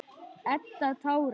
Edda tárast.